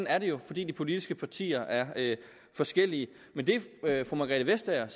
er det jo fordi de politiske partier er forskellige men det fru margrethe vestager